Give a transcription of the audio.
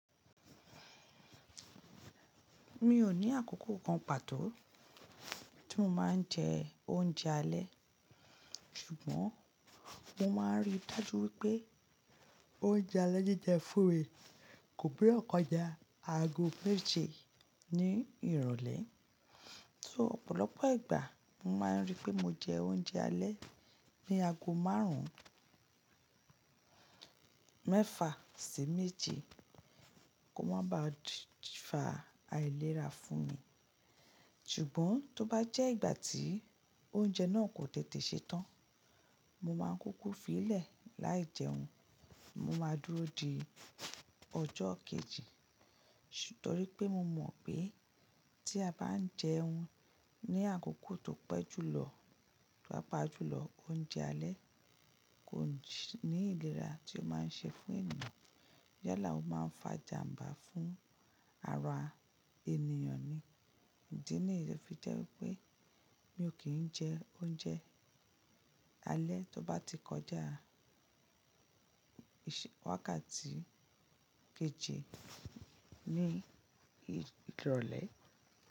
Mi ò ní àkókò kan pàtó tí mo máa ń jẹ oúnjẹ alẹ́, ṣùgbọ́n mo máa ń ríi dájú wípé oúnjẹ alẹ́ jíjẹ fún mi kò gbodo kọjà ago méje ní ìrọ̀lẹ́. So ọ̀pọ̀lọpọ̀ ìgbà mo máa ń rí pé mo jẹ oúnjẹ alẹ́ ní aago márùn ún mẹ́fà sí méje kó má ba fa àìlera fún mi. Ṣùgbọ́n tó bá jẹ́ ìgbà tí oúnjẹ náà kò tètè ṣe tán, mo máa ń kúkú fi í lẹ̀ láì jẹun. Mo máa dúró di ọjọ́ kejì. Nítorí pé mo mọ̀ pé tí a bá ń jẹun ní àkókò tó pẹ́ jùlọ papa jùlọ oúnjẹ alẹ́ kò ní ìlera tí ó máa ń ṣe fún ènìyàn. Níyálà o máa ń fa ijàmbá fún ara ènìyàn ni. Ǹdí nìyẹn fi jẹ́ wípé mi ò kí ń jẹ oúnjẹ alẹ́ tó bá ti kọjá ìsẹ́ wákàtí ikejì ní ìrọ̀lẹ́